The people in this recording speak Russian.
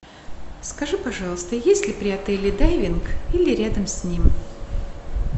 скажи пожалуйста есть ли при отеле дайвинг или рядом с ним